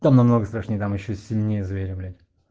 там намного страшнее там ещё сильнее зверя блять